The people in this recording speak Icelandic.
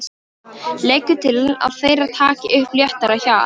Leggur til að þeir taki upp léttara hjal.